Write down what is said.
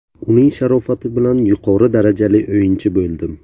Uning sharofati bilan yuqori darajali o‘yinchi bo‘ldim.